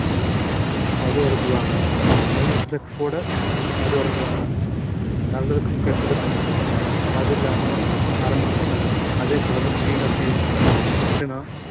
மது அருந்துவாங்க மகிழ்ச்சில கூட மது அருந்துவாங்க நல்லதுக்கும் கெட்டதுக்கும் மது இல்லாம ஆரம்பிக்க மாட்டாங்க அதே போலதான் tea coffee யும் எப்படின்னா